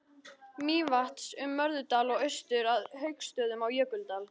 Mývatns, um Möðrudal og austur að Hauksstöðum á Jökuldal.